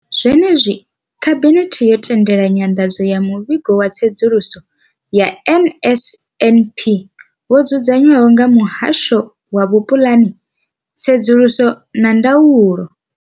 Zwenezwi, khabinethe yo tendela nyanḓadzo ya muvhigo wa tsedzuluso ya NSNP wo dzudzanywaho nga muhasho wa vhupuḽani, tsedzuluso na ndaulo.